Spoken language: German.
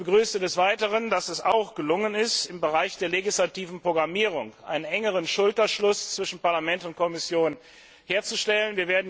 Ich begrüße des Weiteren, dass es auch gelungen ist, im Bereich der legislativen Programmierung einen engeren Schulterschluss zwischen Parlament und Kommission herzustellen.